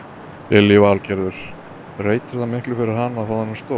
Lillý Valgerður: Breytir það miklu fyrir hana að fá þennan stól?